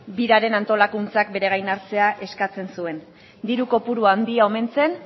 biraren antolakuntzak bere gain hartzea eskatzen zuen diru kopuru handia omen zen